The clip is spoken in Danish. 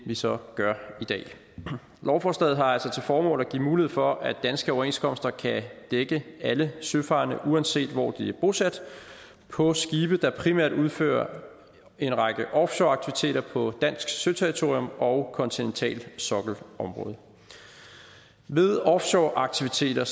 vi så gør i dag lovforslaget har altså til formål at give mulighed for at danske overenskomster kan dække alle søfarende uanset hvor de er bosat på skibe der primært udfører en række offshoreaktiviteter på dansk søterritorium og kontinentalsokkelområdet ved offshoreaktiviteter